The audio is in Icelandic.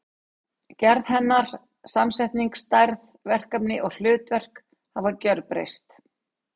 Gerð hennar, samsetning, stærð, verkefni og hlutverk hafa gjörbreyst.